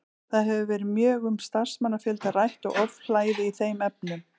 Það hefur verið mjög um starfsmannafjölda rætt og ofhlæði í þeim efnum.